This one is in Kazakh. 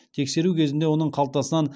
тексеру кезінде оның қалтасынан